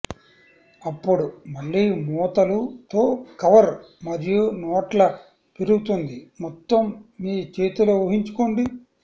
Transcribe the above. అప్పుడు మళ్ళీ మూతలు తో కవర్ మరియు నోట్ల పెరుగుతుంది మొత్తం మీ చేతిలో ఊహించుకోండి